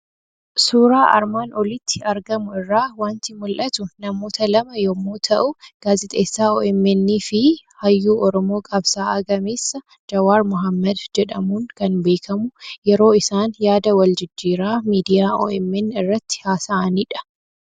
Suuraa armaan olitti argamu irraa waanti mul'atu; namoota lama yommuu ta'u, gaazixeessaa OMN fi hayyuu oromoo qabsaa'aa gameessa Jawaar Maammeed jedhamuun kan beekamu yeroo isaan yaada wal jijjiiraa miidiyaa OMN irratti haasa'anidha.